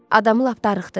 Adamı lap darıxdırır.